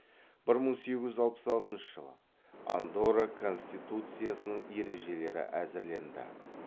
бір мың сегіз жүз алпыс алтыншы жылы андорра конституциясының ережелері әзірленді